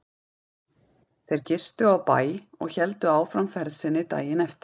Þeir gistu á bæ og héldu áfram ferð sinni daginn eftir.